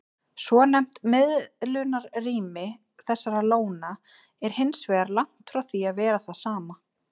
Svonefnt miðlunarrými þessara lóna er hins vegar langt frá því að vera það sama.